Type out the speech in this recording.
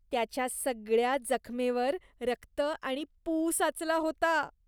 त्याच्या सगळ्या जखमेवर रक्त आणि पू साचला होता.